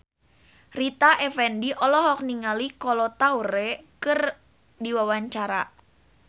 Rita Effendy olohok ningali Kolo Taure keur diwawancara